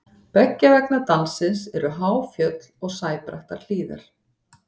beggja vegna dalsins eru há fjöll og sæbrattar hlíðar